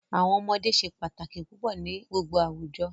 Awọn ọmọde se pataki pupọ ni gbogbo awujọ.